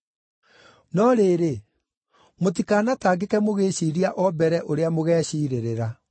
No rĩrĩ, mũtikanatangĩke mũgĩĩciiria o mbere, ũrĩa mũgeeciirĩrĩra.